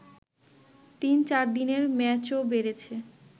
তিন-চারদিনের ম্যাচও বেড়েছে